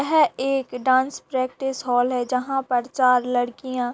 यह एक dance practice hall है जहां पर चार लड़कियां --